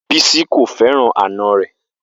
Bisi ko fẹran ana rẹ